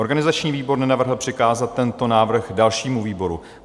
Organizační výbor nenavrhl přikázat tento návrh dalšímu výboru.